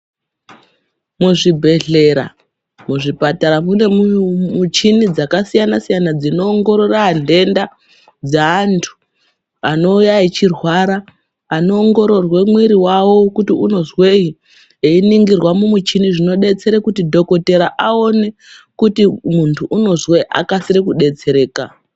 Muzvibhedhlera, muzvipatara mune mishini dzakasiyana siyana dzino ongorora ndenda dze antu anouya echirwara ano ongororwa muwiri wavo kuti unozwei einingirwa mumishini zvinodetsere kuti dhokodhera aone kuti muntu unozwei akasire kudetsereka.